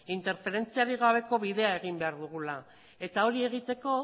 interferentziarik gabeko bidea egin behar dugula eta hori egiteko